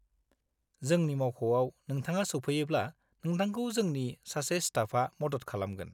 जोंनि मावख'आव नोंथाङा सौफैयोब्ला नोंथांखौ जोंनि सासे स्टाफा मदद खालामगोन।